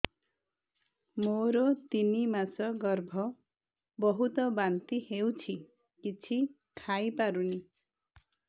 ମୋର ତିନି ମାସ ଗର୍ଭ ବହୁତ ବାନ୍ତି ହେଉଛି କିଛି ଖାଇ ପାରୁନି